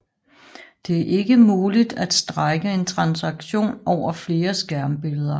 Det er ikke muligt at strække en transaktion over flere skærmbilleder